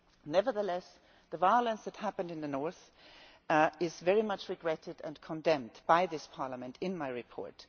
Nevertheless, the violence that took place in the north is very much regretted and condemned by this Parliament in my report.